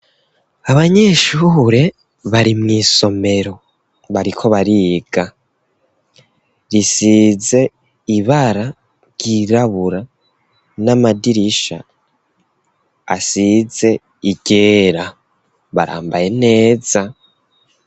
Abanyeshure bari mu isomero bariko bariga risize ibara ry'irabura n'amadirisha asize iryera barambaye neza.